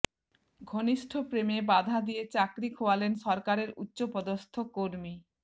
ঘনিষ্ঠ প্রেমে বাধা দিয়ে চাকরি খোয়ালেন সরকারের উচ্চপদস্থ কর্মী